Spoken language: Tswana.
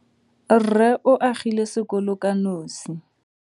Rrê o agile sekolo ka nosi.